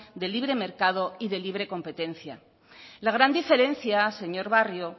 de libre mercado y de libre competencia la gran diferencia señor barrio